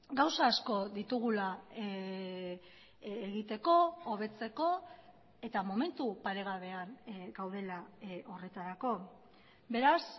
gauza asko ditugula egiteko hobetzeko eta momentu paregabean gaudela horretarako beraz